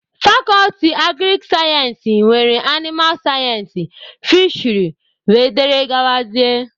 Fakọlti agrik sayensị nwere animal sayensị, fisheri wdg